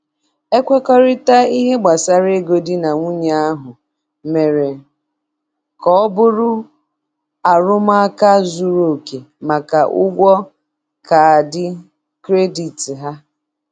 Ekwekọrịtaghị n'ihe gbasara ego di na nwunye ahụ mere ka ọ bụrụ arụmụka zuru oke maka ụgwọ kaadị kredit ha.